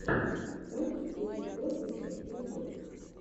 можешь включить бортника ютуб